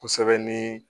Kosɛbɛ ni